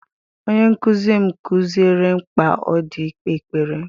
Onye nkụzi m kụziere mkpa ọ dị ikpe ekpere.